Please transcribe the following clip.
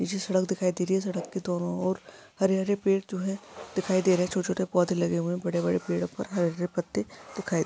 इसी सड़क दिखाई दे रही है सड़क की दोनों और हरे हरे पेड़ जोहे दिखाई दे रहे है छोटे छोटे पौधे लगे हुए है बड़े बड़े पेड़ उप्पर हरे भरे पत्ते दिखाई--